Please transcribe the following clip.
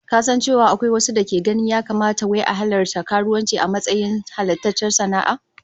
Ka san cewa akwai wasu dake ganin ya kamata wai a halatta karuwanci a matsayin halattaccen sana'a?